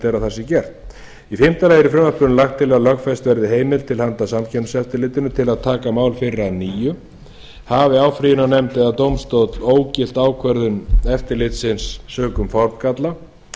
í fimmta lagi er í frumvarpinu lagt til að lögfest verði heimild til handa samkeppniseftirlitinu til að taka mál fyrir að nýju hafi áfrýjunarnefnd eða dómstóll ógilt ákvörðun eftirlitsins sökum formgalla